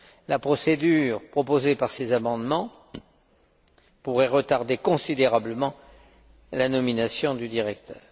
La procédure proposée par ces amendements pourrait retarder considérablement la nomination du directeur.